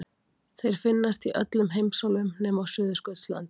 Þeir finnast í öllum heimsálfum nema á Suðurskautslandinu.